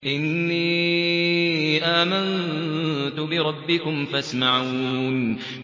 إِنِّي آمَنتُ بِرَبِّكُمْ فَاسْمَعُونِ